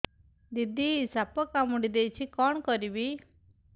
ଦିଦି ସାପ କାମୁଡି ଦେଇଛି କଣ କରିବି